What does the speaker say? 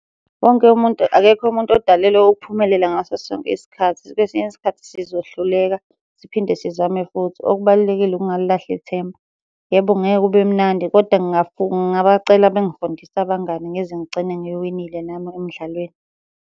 Wonke umuntu, akekho umuntu odalelwe ukuphumelela ngaso sonke isikhathi. Kwesinye isikhathi sizohluleka, siphinde sizame futhi. Okubalulekile ukungalilahli ithemba. Yebo, ngeke kube mnandi koda ngingabacela bengifundise abangani ngize ngigcine ngiwinile nami emdlalweni.